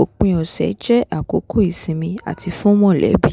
òpin ọ̀sẹ̀ jẹ́ àkókò ìsinmi àti fún mọ̀lẹ́bí